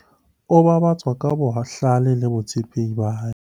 o babatswa ka bohlale le botshepehi ba hae